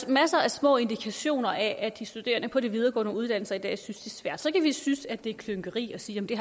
masser af små indikationer af at de studerende på de videregående uddannelser i dag synes det er svært så kan vi synes at det er klynkeri og sige at det